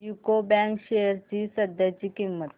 UCO bank shares ची सध्याची किंमत